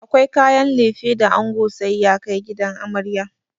Akwai kayan lefe da ango sai ya kai gidan amarya.